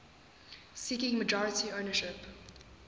seeking majority ownership